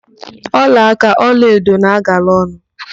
Ọlaáká ọlaedo na-agala ọnụ.